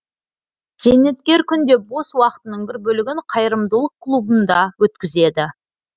зейнеткер күнде бос уақытының бір бөлігін қайырымдылық клубында өткізеді